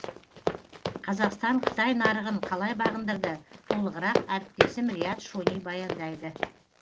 қазақстан қытай нарығын қалай бағындырды толығырақ әріптесім риат шони баяндайды